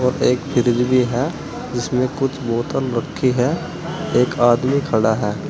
और एक फ्रिज भी है जिसमें कुछ बोतल रखी है एक आदमी खड़ा है।